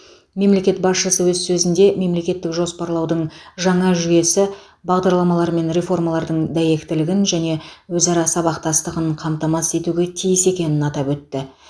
мемлекет басшысы өз сөзінде мемлекеттік жоспарлаудың жаңа жүйесі бағдарламалар мен реформалардың дәйектілігін және өзара сабақтастығын қамтамасыз етуге тиіс екенін атап өтті